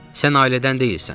Sən ailədən deyilsən.